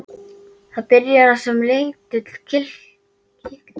Það byrjar sem lítill, kitlandi neisti í dimmu herbergi.